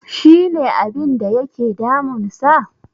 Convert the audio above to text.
She ne abinda yake damunsa?